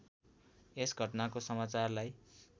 यस घटनाको समाचारलाई